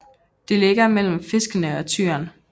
Det ligger mellem Fiskene og Tyren